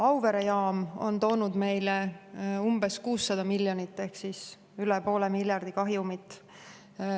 Auvere jaam on toonud meile umbes 600 miljonit ehk üle poole miljardi kahjumit.